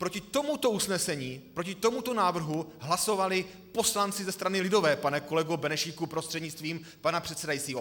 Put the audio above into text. Proti tomuto usnesení, proti tomuto návrhu hlasovali poslanci ze strany lidové, pane kolego Benešíku prostřednictvím pana předsedajícího.